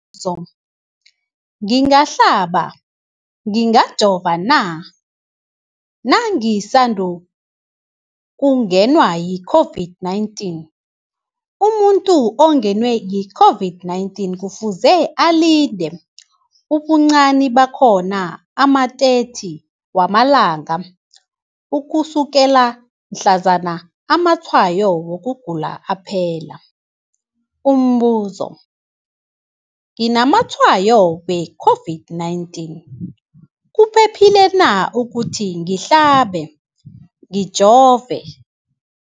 zo, ngingahlaba, ngingajova na nangisandu kungenwa yi-COVID-19? Umuntu ongenwe yi-COVID-19 kufuze alinde ubuncani bakhona ama-30 wama langa ukusukela mhlazana amatshayo wokugula aphela. Umbuzo, nginamatshayo we-COVID-19, kuphephile na ukuthi ngihlabe, ngijove?